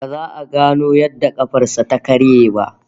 Ba za a gano yadda kafar sa ta karye ba